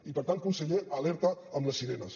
i per tant conseller alerta amb les sirenes